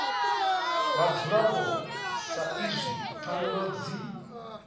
vhadzulapo sa izwi pfanelo dzi